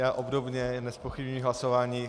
Já obdobně nezpochybňuji hlasování.